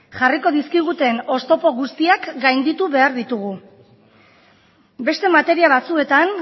jarriko dizkiguten oztopo guztiak gainditu behar ditugu beste materia batzuetan